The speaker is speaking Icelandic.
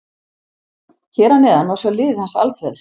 Hér að neðan má sjá liðið hans Alfreðs.